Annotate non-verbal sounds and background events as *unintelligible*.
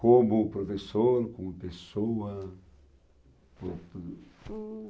Como professor, como pessoa? *unintelligible* Hm